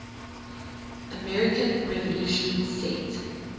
american revolution set